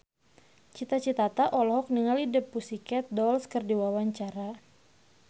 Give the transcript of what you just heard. Cita Citata olohok ningali The Pussycat Dolls keur diwawancara